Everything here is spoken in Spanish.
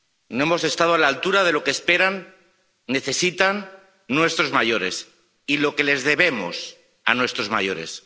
No hemos estado a la altura de lo que esperan, necesitan, nuestros mayores, ni de lo que les debemos a nuestros mayores.